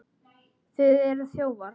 Þið eruð þjófar!